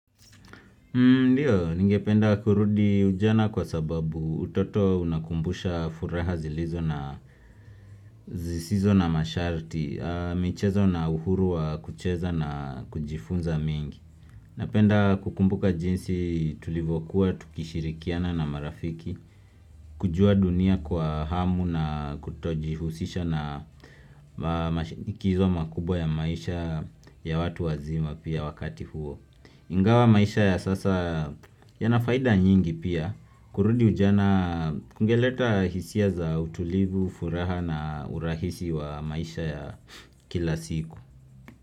Ndiyo, ningependa kurudi ujana kwa sababu utoto unakumbusha furaha zilizo na zisizo na masharti, michezo na uhuru wa kucheza na kujifunza mingi. Napenda kukumbuka jinsi tulivyokuwa, tukishirikiana na marafiki, kujua dunia kwa hamu na kutojihusisha na mashinikizo makubwa ya maisha ya watu wazima pia wakati huo. Ingawa maisha ya sasa yana faida nyingi pia kurudi ujana kungeleta hisia za utulivu, furaha na urahisi wa maisha ya kila siku.